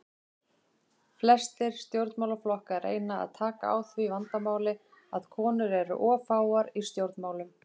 Flestir stjórnmálaflokkar reyna að taka á því vandamáli að konur eru of fáar í stjórnmálum.